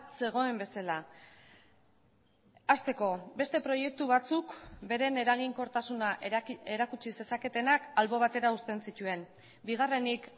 zegoen bezala hasteko beste proiektu batzuk beren eraginkortasuna erakutsi zezaketenak albo batera uzten zituen bigarrenik